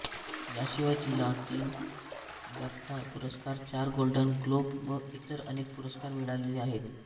याशिवाय तिला तीन बॅफ्टा पुरस्कार चार गोल्डन ग्लोब व इतर अनेक पुरस्कार मिळालेले आहेत